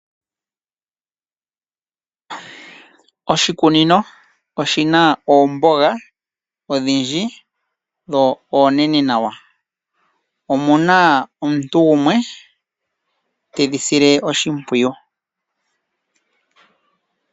Oshikunino oshina oombonga odhindji dho oonete nawa, omuna omuntu gumwe tedhi sile oshimpwiyu.